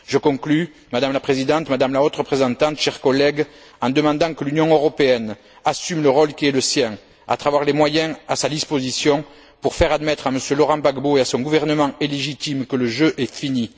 Je conclus, Madame la Présidente, Madame la Haute représentante, chers collègues, en demandant que l'Union européenne assume le rôle qui est le sien à travers les moyens dont elle dispose pour faire admettre à M. Laurent Gbagbo et à son gouvernement illégitime que le jeu est fini.